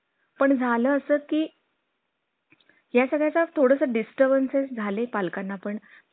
दोन महिने लागतील sir